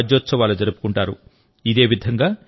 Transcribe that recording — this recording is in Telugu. కర్ణాటకలో రాజ్యోత్సవాలు జరుపుకుంటారు